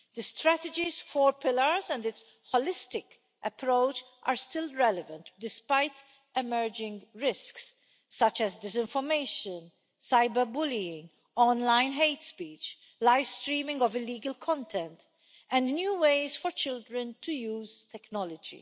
The strategy's four pillars and its holistic approach are still relevant, despite emerging risks such as disinformation, cyberbullying, online hate speech, live streaming of illegal content, and new ways for children to use technology.